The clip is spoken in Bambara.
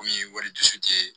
Komi wali dusu tɛ